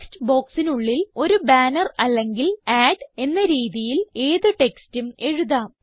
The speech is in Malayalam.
ടെക്സ്റ്റ് ബോക്സിനുള്ളിൽ ഒരു ബാനർ അല്ലെങ്കിൽ അഡ് എന്ന രീതിയിൽ ഏത് ടെക്സ്റ്റും എഴുതാം